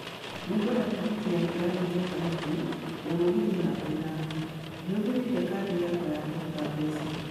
Nĩ ngwenda tigiti ya kĩrathi gĩa thahabu ya mũgithi namba ithano ndĩhũthĩrĩte kadi yakwa ya kũruta mbeca